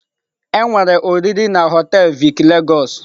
Enwere oriri na họtelụ Vic Lagos.